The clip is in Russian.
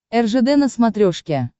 ржд на смотрешке